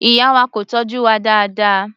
Ìyá wa kò tọ́jú wa dáadáa.